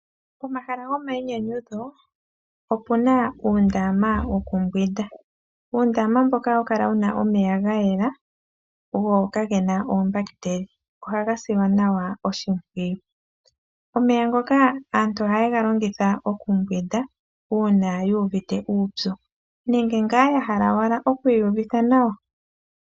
Pomahala gomayinyanyudho opu na uundama wokumbwinda mboka hawu kala wu na omeya ga yela go kage na oombahitela. Omeya ngoka aantu ohaye ga longitha okumbwinda uuna yu uvite uupyu nenge ya hala owala okwiiyuvitha nawa.